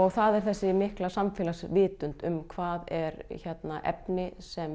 það er þessi mikla samfélagsvitund um hvað er efni sem